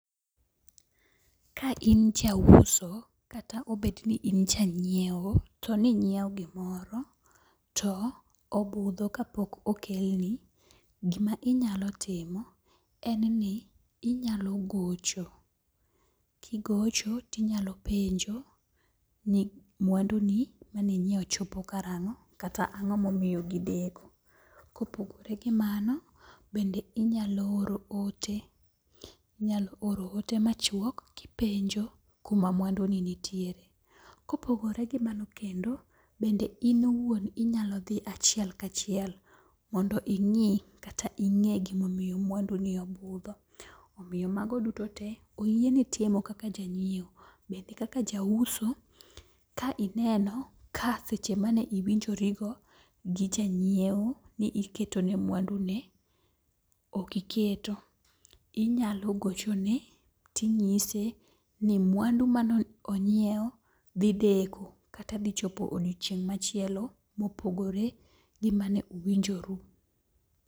Ka in jauso kata obet ni in janyieo to ninyieo gimoro to obudho kapok okelni, gima inyalo timo en ni inyalo gocho, kigocho tinyalo penjo ni mwanduni ma ninyieo chopo karang'o kata ang'o momiyo ne gideko. Kopogore gi mano bende inyalo oro ote. Inyalo oro ote machuok kipenjo kuma mwanduni nitiere. Kopogore gi mano kendo, bende in iwuon inyalo dhi achiel kachiel mondo ing'i kata ing'e gimomiyo mwanduni obudho. Omiyo mago duto te oyieni timo kaka janyieo bende kaka jauso ka ineno ka seche ma ne iwinjorigo gi janyieo ni iketone mwanduni okiketo inyalo gochone ting'ise ni mwandu manonyiew dhi deko kata dhi chopo odiochieng' machielo mopogore gi mane uwinjoru.